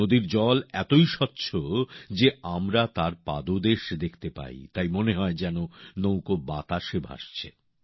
নদীর জল এতই স্বচ্ছ যে আমরা তার পাদদেশ দেখতে পাই তাই মনে হয় যেন নৌকা বাতাসে ভাসছে